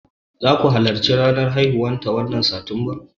Zaku halarci ranar haihuwa ta wannan watan satumba?